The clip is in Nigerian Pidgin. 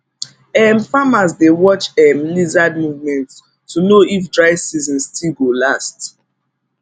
um farmers dey watch um lizard movement to know if dry season still go last